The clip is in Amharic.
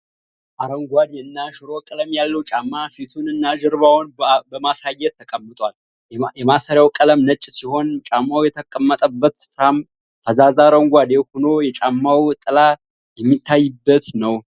አረንጓዴ እና ሽሮ ቀለም ያለው ጫማ ፊቱን እና ጀርባውን በማሳየት ተቀምጧል። የማሰሪያው ቀለም ነጭ ሲሆን ጫማው የተቀመጠበት ስፍራም ፈዛዛ አረንጓዴ ሆኖ የጫማው ጥላ የሚታይበት ነው።